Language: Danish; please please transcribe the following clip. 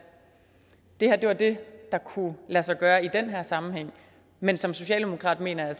det her er det der kunne lade sig gøre i den her sammenhæng men som socialdemokrat mener jeg